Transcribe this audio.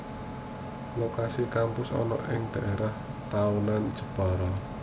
Lokasi kampus ana ing daerah Tahunan Jepara